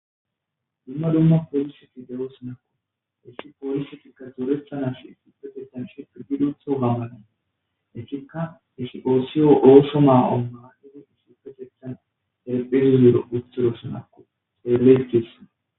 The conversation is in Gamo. Dumma dumma poliseti de7o s nakko issi poolisetikka xuureta nashe supetethan shepididotho gambanane etikka isi oosiyo oosho maa7onmaanidi sufetethan erpidzuro uthoro snakko seeletessana